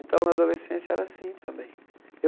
Então, na adolescência era assim também. Eu